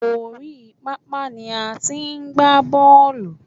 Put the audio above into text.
Oríi pápá ni a ti ń gba bọ́ọ̀lù.